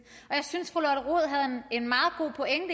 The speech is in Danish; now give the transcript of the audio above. og jeg synes